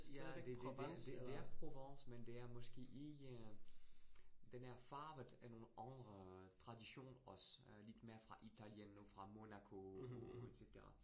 Ja, det det det det er Provence, men det er måske ikke øh. Den er farvet af nogle andre traditioner. Lidt mere fra Italien, noget fra Monaco et cetera